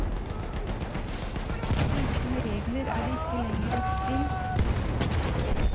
Uten regler er det ikke lenger et spill.